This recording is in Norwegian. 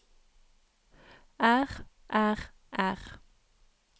er er er